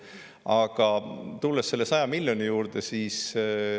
Aga tulen selle 100 miljoni euro juurde.